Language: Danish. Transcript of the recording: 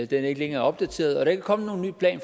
den er ikke længere opdateret og der er ikke kommet nogen ny plan